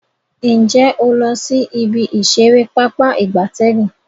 Nje o lo si ibi isere Pápá ìgbatẹ́gùn?